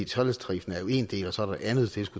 treledstariffen er jo en del og så er der andet